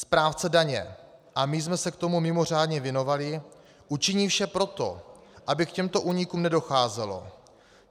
Správce daně, a my jsme se tomu mimořádně věnovali, učiní vše pro to, aby k těmto únikům nedocházelo.